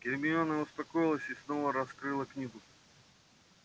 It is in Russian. гермиона успокоилась и снова раскрыла книгу